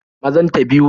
Mazan ta biyu